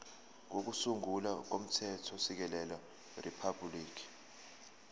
kokusungula komthethosisekelo weriphabhuliki